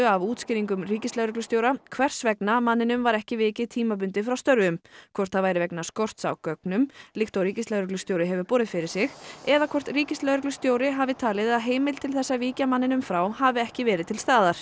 af útskýringum ríkislögreglustjóra hvers vegna manninum var ekki vikið tímabundið frá störfum hvort það væri vegna skorts á gögnum líkt og ríkislögreglustjóri hefur borið fyrir sig eða hvort ríkislögreglustjóri hafi talið að heimild til þess að víkja manninum frá hafi ekki verið til staðar